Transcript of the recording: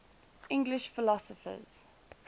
english philosophers